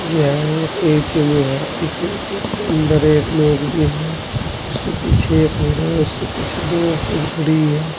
यह एक एटीयमे है इस ए_टी_एम के अंदर एक लोग भी है उसके पीछे एक और हैं उससे पीछे दो औरते भी खड़ी है।